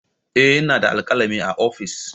Eh ina da alkalami a ofis.